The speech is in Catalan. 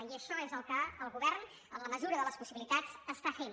i això és el que el govern en la mesura de les possibilitats està fent